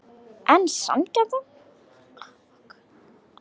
En sanngjarnt?